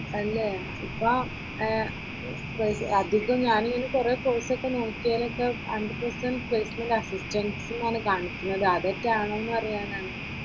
അല്ലേ ഇപ്പോ ഏർ അധികം ഞാൻ ഇങ്ങനെ കുറെ കോഴ്‌സൊക്കെ നോക്കിയതിലൊക്കെ ഹൺഡ്രഡ് പെർസെന്റ് പ്ലേസ്മെന്റ് അസിറ്റന്സ് എന്നാണ് കാണിക്കുന്നത് അതൊക്കെ ആണോ എന്നറിയാനാണ്.